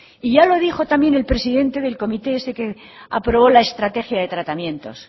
y ya lo dijo también el presidente del comité ese que aprobó la estrategia de tratamientos